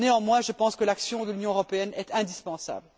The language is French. Néanmoins, je pense que l'action de l'Union européenne est indispensable.